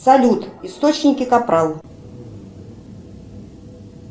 салют источники капрал